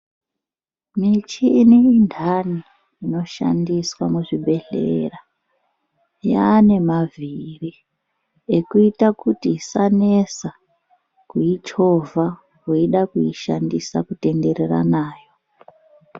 Michini indani inoshandiswa muzvibhehlera yaane mavhiri ekuita kuti isanesa kuichovha weida kuishandisa kutenderera nayo.